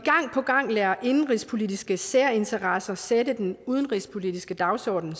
gang lader indenrigspolitiske særinteresser sætte den udenrigspolitiske dagsordenen